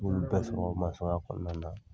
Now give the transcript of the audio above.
N y'olu bɛɛ sɔrɔ sɔrɔ kɔnɔna na.